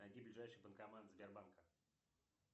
найди ближайший банкомат сбербанка